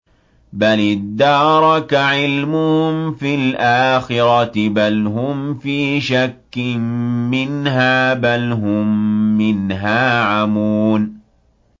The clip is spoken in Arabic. بَلِ ادَّارَكَ عِلْمُهُمْ فِي الْآخِرَةِ ۚ بَلْ هُمْ فِي شَكٍّ مِّنْهَا ۖ بَلْ هُم مِّنْهَا عَمُونَ